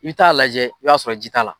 I bɛ t'a lajɛ i b'i t'a sɔrɔ ji t'a la.